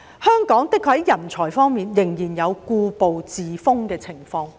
香港在人才方面，的確仍然有故步自封的情況。